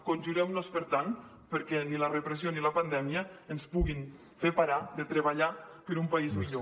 conjurem nos per tant perquè ni la repressió ni la pandèmia ens puguin fer parar de treballar per un país millor